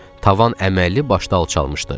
Tavan əməlli başlı alçalmışdı.